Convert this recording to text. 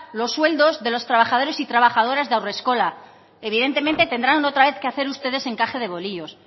los sueldos de los trabajadores y trabajadoras de haurreskolak evidentemente tendrán otra vez que hacer ustedes encaje de bolillos